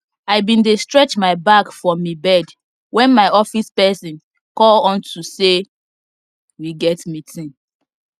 i bin dey stretch my back for mi bed wen my office pesin call unto say we get meetin